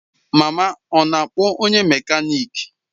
Mama ọ na-akpọ onye mekaniki?